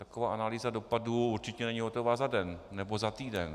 Taková analýza dopadů určitě není hotová za den nebo za týden.